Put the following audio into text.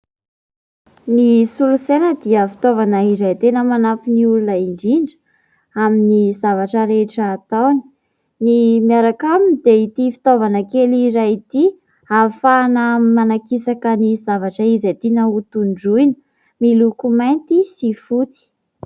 Ny solosaina dia fitaovana izay tena manampy ny olona indrindra amin'ny zavatra rehetra ataony. Ny miaraka aminy dia ity fitaovana kely iray ity, izay hafahanany manakisaka ny zavatra izay zavatra tiana ho tondroina, miloko mainty sy fotsy.